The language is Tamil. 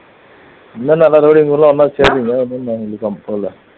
சேர்றீங்க அதான்